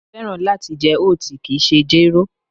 Mo fẹ́ràn láti jẹ oat, kìí ṣe jéró